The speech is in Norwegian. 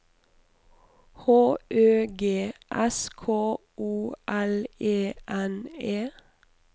H Ø G S K O L E N E